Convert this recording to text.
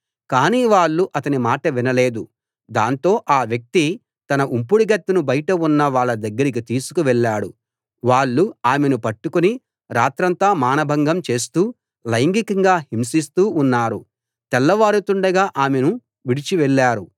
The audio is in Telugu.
కాని వాళ్ళు అతని మాట వినలేదు దాంతో ఆ వ్యక్తి తన ఉంపుడుగత్తెను బయట ఉన్న వాళ్ళ దగ్గరికి తీసుకు వెళ్ళాడు వాళ్ళు ఆమెను పట్టుకుని రాత్రంతా మానభంగం చేస్తూ లైంగికంగా హింసిస్తూ ఉన్నారు తెల్లవారుతుండగా ఆమెను విడిచి వెళ్ళారు